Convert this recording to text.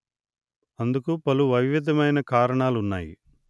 అందుకు పలు వైవిద్యమైన కారణాలు ఉన్నాయి